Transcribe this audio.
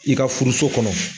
I ka furuso kɔnɔ